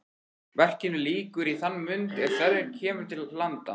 Verkinu lýkur í þann mund er Sverrir kemur til landa.